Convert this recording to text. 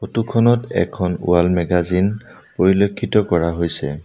ফটোখনত এখন wall magazine পৰিলক্ষিত কৰা হৈছে।